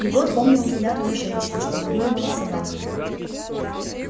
егор помнил взгляд той женщины что выгуливала собак